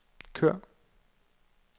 kør